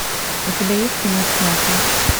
у тебя есть кино снято